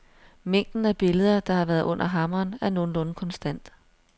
Mængden af billeder, der har været under hammeren, er nogenlunde konstant.